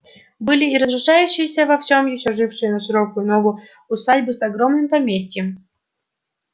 были и разрушающиеся во всём ещё жившие на широкую ногу усадьбы с огромным поместьем